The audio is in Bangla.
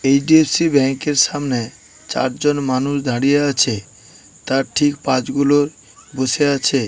এইচ-ডি-এফ-সি ব্যাংক এ সামনে চারজন মানুষ দাঁড়িয়ে আছে তার ঠিক পাঁজগুলো বসে আছে ।